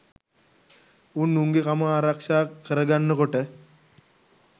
උන් උන්ගෙ කම ආරක්ෂා කර ගන්න කොට